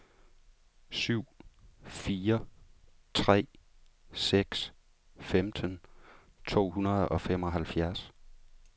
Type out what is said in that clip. syv fire tre seks femten to hundrede og femoghalvfjerds